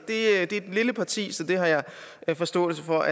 det er et lille parti så det har jeg forståelse for